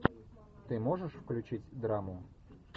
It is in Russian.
ты можешь включить драму